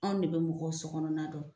Anw ne be mɔgɔw sɔgɔnɔna dɔn